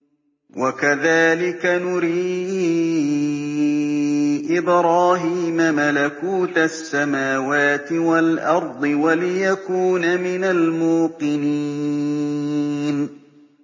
وَكَذَٰلِكَ نُرِي إِبْرَاهِيمَ مَلَكُوتَ السَّمَاوَاتِ وَالْأَرْضِ وَلِيَكُونَ مِنَ الْمُوقِنِينَ